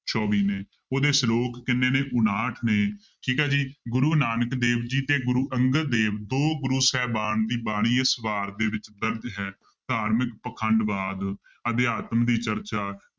ਚੌਵੀ ਨੇ, ਉਹਦੇ ਸਲੋਕ ਕਿੰਨੇ ਨੇ, ਉਣਾਹਠ ਨੇ ਠੀਕ ਹੈ ਜੀ ਗੁਰੂ ਨਾਨਕ ਦੇਵ ਜੀ ਤੇ ਗੁਰੂ ਅੰਗਦ ਦੇਵ, ਦੋ ਗੁਰੂ ਸਾਹਿਬਾਨ ਦੀ ਬਾਣੀ ਇਸ ਵਾਰ ਦੇ ਵਿੱਚ ਦਰਜ਼ ਹੈ ਧਾਰਮਿਕ ਪਾਖੰਡਵਾਦ ਅਧਿਾਤਮ ਦੀ ਚਰਚਾ